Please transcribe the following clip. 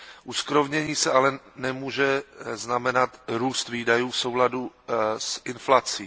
Uskrovnění se ale nemůže znamenat růst výdajů v souladu s inflací.